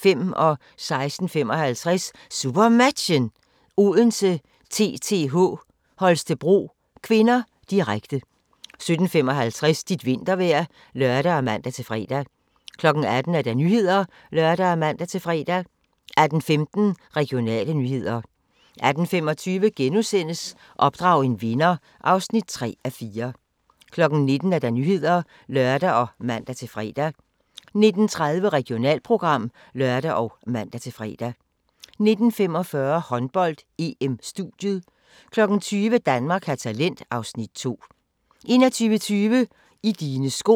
16:55: SuperMatchen: Odense-TTH Holstebro (k), direkte 17:55: Dit vintervejr (lør og man-fre) 18:00: Nyhederne (lør og man-fre) 18:15: Regionale nyheder 18:25: Opdrag en vinder (3:4)* 19:00: Nyhederne (lør og man-fre) 19:30: Regionalprogram (lør og man-fre) 19:45: Håndbold: EM - studiet 20:00: Danmark har talent (Afs. 2) 21:20: I dine sko